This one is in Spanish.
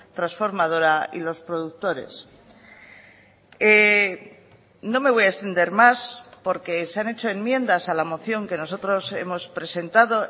transformadora y los productores no me voy a extender más porque se han hecho enmiendas a la moción que nosotros hemos presentado